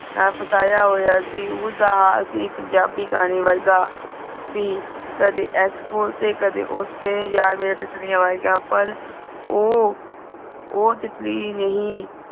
ਨਾਲ ਫਸਾਯਾ ਹੋਯਾ ਸੀ ਉਸ ਦਾ ਹਾਲ ਸੀ ਪੰਜਾਬੀ ਗਾਣੇ ਵਰਗਾ ਸੀ ਕੱਢੇ ਇਸ ਫਹੋਸੇ ਕੱਢੇ ਉਸ ਜਾ ਮੇਰੇ ਤਿਤਲੀ ਅਵਾਇਘ ਪਰ ਊ ਊ ਤਿਤਲੀ ਨਹੀਂ